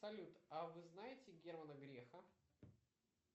салют а вы знаете германа грефа